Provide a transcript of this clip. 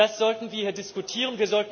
Das sollten wir hier diskutieren.